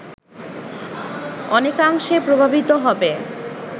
অনেকাংশে প্রভাবিত হবে